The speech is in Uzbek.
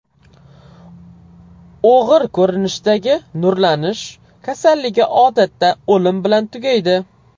O‘g‘ir ko‘rinishdagi nurlanish kasalligi odatda o‘lim bilan tugaydi.